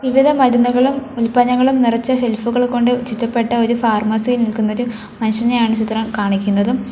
വിവിധ മരുന്നുകളും ഉൽപ്പന്നങ്ങളും നിറച്ച ഷെൽഫുകൾ കൊണ്ട് ചുറ്റപ്പെട്ട ഒരു ഫാർമസിയിൽ നിൽക്കുന്ന ഒരു മനുഷ്യനെയാണ് ചിത്രം കാണിക്കുന്നതും.